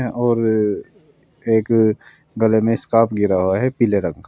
और एक गले में स्कार्फ गिरा हुआ है पीले रंग का।